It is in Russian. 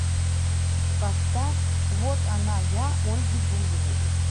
поставь вот она я ольги бузовой